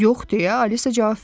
Yox deyə Alisa cavab verdi.